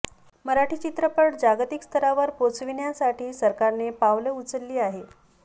मराठी चित्रपट जागतिक स्तरावर पोहोचविण्यासाठी सरकारने पावली उचलली आहे